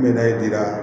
N bɛ na di yan